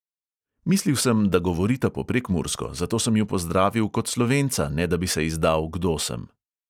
Mislil sem, da govorita po prekmursko, zato sem ju pozdravil kot slovenca, ne da bi se izdal, kdo sem.